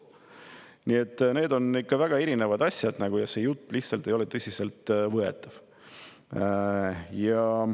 Nii et need on ikka väga erinevad asjad ja see jutt ei ole lihtsalt tõsiselt võetav.